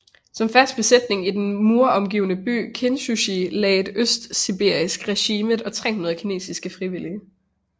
Som fast besætning i den muromgivne by Kintschou lagdes et østsibirisk regiment og 300 kinesiske frivillige